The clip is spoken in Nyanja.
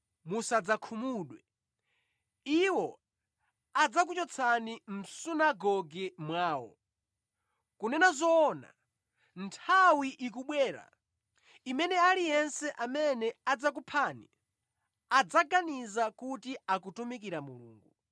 Iwo adzakuchotsani mʼsunagoge mwawo. Kunena zoona, nthawi ikubwera imene aliyense amene adzakuphani adzaganiza kuti akutumikira Mulungu.